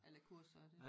Alle kurser og det